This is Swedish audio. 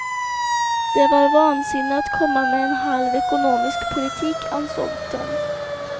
Det var vansinne att komma med en halv ekonomisk politik, ansåg de.